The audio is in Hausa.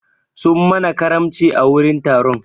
Sun mana karamci a wurin taron.